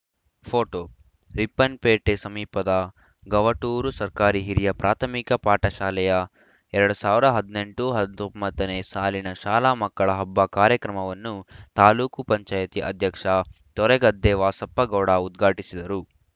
photo Ripponpete ಸಮೀಪದ ಗವಟೂರು ಸರ್ಕಾರಿ ಹಿರಿಯ ಪ್ರಾಥಮಿಕ ಪಾಠಶಾಲೆಯ ಎರಡ್ ಸಾವಿರದ ಹದಿನೆಂಟು ಹತ್ತೊಂಬತ್ತ ನೇ ಸಾಲಿನ ಶಾಲಾ ಮಕ್ಕಳ ಹಬ್ಬ ಕಾರ್ಯಕ್ರಮವನ್ನು ತಾಲೂಕು ಪಂಚಾಯ್ತಿ ಅಧ್ಯಕ್ಷ ತೋರೆಗದ್ದೆ ವಾಸಪ್ಪಗೌಡ ಉದ್ಘಾಟಿಸಿದರು